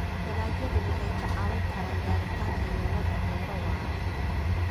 Dalagyadu waxay kaa caawin karaan gaaritaanka yoolalka beero waara.